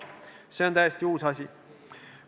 See on täiesti uus asi.